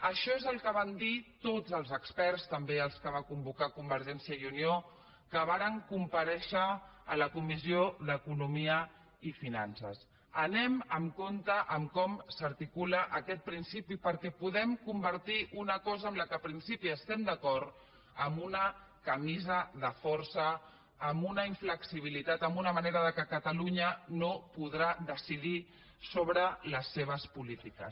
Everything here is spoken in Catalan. això és el que van dir tots els experts també els que va convocar convergència i unió que varen comparèixer a la comissió d’economia i finances anem amb compte amb com s’articula aquest principi perquè podem convertir una cosa amb la qual en principi estem d’acord en una camisa de força en una inflexibilitat en una manera que catalunya no podrà decidir sobre les seves polítiques